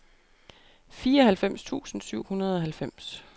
fireoghalvfems tusind syv hundrede og halvfems